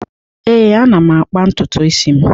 Ee, ana m akpa ntutu isi m.